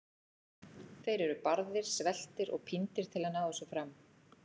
Þeir eru barðir, sveltir og píndir til að ná þessu fram.